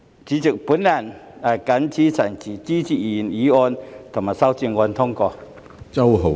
主席，我謹此陳辭，支持通過原議案及修正案。